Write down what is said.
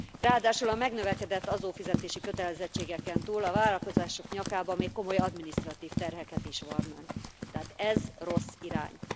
Ráadásul a megnövekedett adófizetési kötelezettségeken túl, a vállalkozások nyakába még komoly adminisztratív terheket is varrnánk, tehát ez rossz irány.